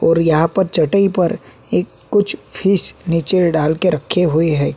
ओर यहां पर चटई पर एक कुछ फिश नीचे डालके रक्खे हुए है।